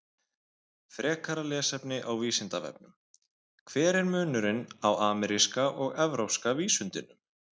Frekara lesefni á Vísindavefnum: Hver er munurinn á ameríska og evrópska vísundinum?